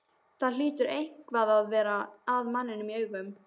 Það hlýtur eitthvað að vera að manninum í augunum.